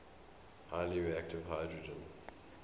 highly reactive hydrogen